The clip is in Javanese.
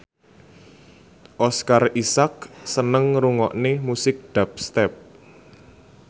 Oscar Isaac seneng ngrungokne musik dubstep